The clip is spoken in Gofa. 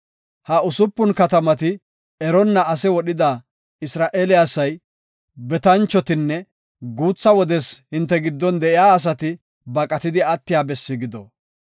Ha usupun katamati eronna ase wodhida Isra7eele asay, betanchotinne guutha wodes hinte giddon de7iya asati baqatidi attiya bessi gido.